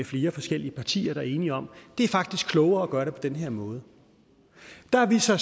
flere forskellige partier der er enige om at det faktisk er klogere at gøre det på den her måde der har vi så